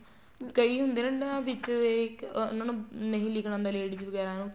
ਕਈ ਹੁੰਦੇ ਹੈ ਨਾ ਵਿੱਚ ਇਹ ਉਹਨਾ ਨੂੰ ਨਹੀਂ ਲਿੱਖਣਾ ਆਉਦਾ ladies ਵਗੈਰਾ ਨੂੰ